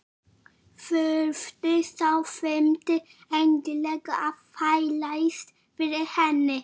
Þurfti sá fimmti endilega að þvælast fyrir henni!